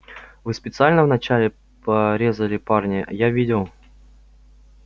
вы специально вначале порезали парня я видел